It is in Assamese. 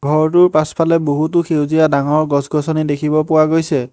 ঘৰটোৰ পাছফালে বহুতো সেউজীয়া ডাঙৰ গছ-গছনি দেখিব পোৱা গৈছে।